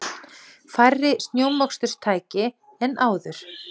Færri snjómoksturstæki en áður